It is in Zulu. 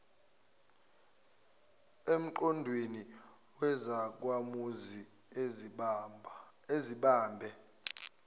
emqondweni wezakhamuzi ezibambe